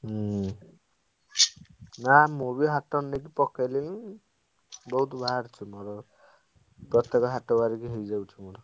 ହୁଁ ନାଁ ମୁଁ ବି ହାଟରେ ନେଇ ପକେଇଦେବି ବୋହୁତ ବାହାରୁଛି ମୋର ପ୍ରତେକ ହାଟ ବାରିକି ହେଇଯାଉଛି ମୋର।